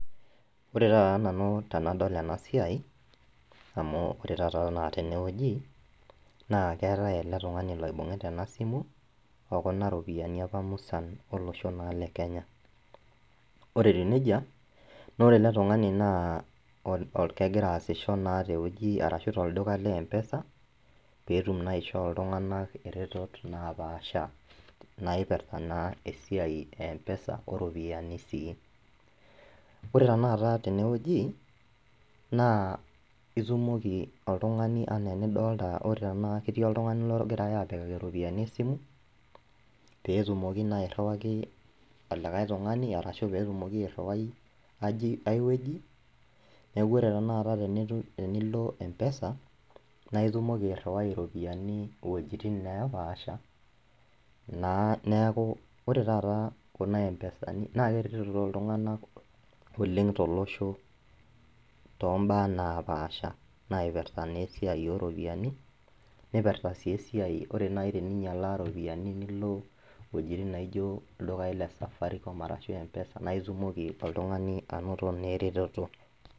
Ore taata nanu tenadol ena siai amu ore taata enaa tenewueji naa keetae ele tung'ani loibung'ita ena simu okuna ropiyiani apa musan olosho naa le kenya ore etiu nejia nore ele tung'ani naa ol kegiraa aasisho naa tewueji arashu tolduka le mpesa peetum naa ishoo iltung'anak iretot napaasha naipirrta naa esiai e mpesa oropiyiani sii ore taata tenewueji naa itumoki oltung'ani anaa enidolta ore tena ketii oltung'ani logirae apikaki iropiyiani esimu petumoki naa airriwaki olikae tung'ani arashu petumoki airriwai aji ae wueji neku ore tenakata tenitum tenilo mpesa naa itumoki airriwai iropiyiani iwojitin nepaasha naa neeku ore taata kuna mpesani naa keretito iltung'anak oleng tolosho tombaa naa napaasha naipirta naa esiai oropiyiani nipirta sii esiai ore naaji teninyialaa iropiyiani nilo iwuejitin naijio ildukai le safaricom arashu mpesa naa itumoki oltung'ani anoto naa eretoto.